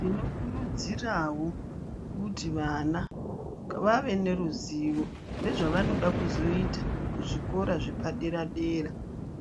Tinokurudzirawo kuti vana vave neruzivo nezvavanoda kuzoita kuzvikora zvepadera-dera,